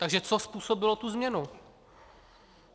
Takže co způsobilo tu změnu?